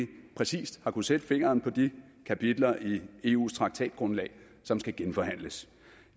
præcist har kunnet sætte fingeren på de kapitler i eus traktatgrundlag som skal genforhandles